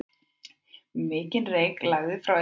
Mikinn reyk lagði frá eldinum.